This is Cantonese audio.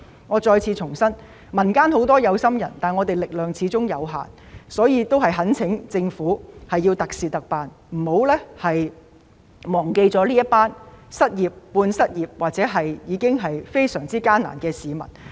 我再次重申，民間有很多有心人，但我們的力量始終有限，所以我懇請政府特事特辦，不要忘記這些失業、半失業或生活已經非常艱難的市民。